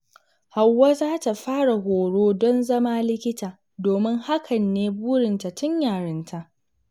Hauwa za ta fara horo don zama likita, domin hakan ne burinta tun yarinta.